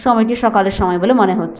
সময়টি সকালের সময় বলে মনে হচ্ছ--